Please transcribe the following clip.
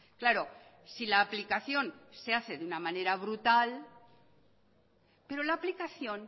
claro si la aplicación se hace de una manera brutal pero la aplicación